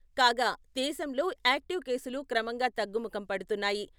కాగా దేశంలో యాక్టివ్ కేసులు క్రమంగా తగ్గుముఖం పడుతున్నాయి.